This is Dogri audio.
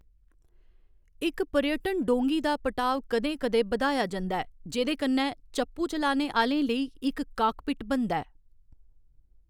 इक पर्यटन डोंगी दा पटाव कदें कदें बधाया जंदा ऐ जेह्कन्नै चप्पू चलाने आह्‌लें लेई इक 'काकपिट' बनदा ऐ।